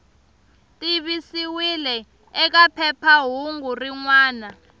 tivisiwile eka phephahungu rin wana